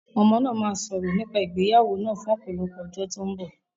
Àwọn ọmọ náà máa sọ̀rọ̀ nípa ìgbéyàwó náà fún ọ̀pọ̀lọpọ̀ ọjọ́ tó ń bọ̀.